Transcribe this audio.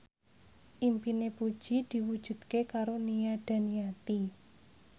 impine Puji diwujudke karo Nia Daniati